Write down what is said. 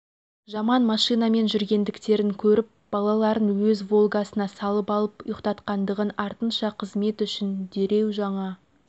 жаман машинамен жүргендіктерін көріп балаларын өз волгасына салып алып ұйқтатқандығын артынша қызмет үшін дереу жаңа